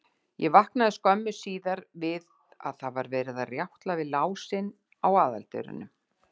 Ég vaknaði skömmu síðar við að verið var að rjátla við lásinn á aðaldyrunum.